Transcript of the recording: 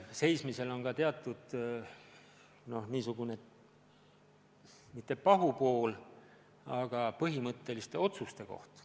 Seismisel on ka teatud niisugune, mitte pahupool, vaid põhimõtteliste otsuste kohustus.